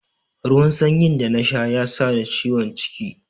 Ruwan sanyin da na sha ya sa ni ciwon ciki.